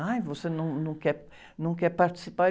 Ah, você num, num quer, não quer participar?